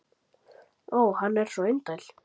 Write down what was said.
Ó, hann er svo indæll!